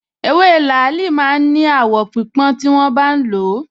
Ewé làálì máa ń ní àwọ̀ pípọ́n tí wọ́n bá ń lò ó